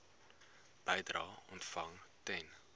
bedrae ontvang ten